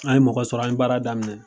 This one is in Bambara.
An ye mɔgɔ sɔrɔ an ye baara daminɛ.